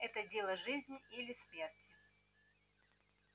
это дело жизни или смерти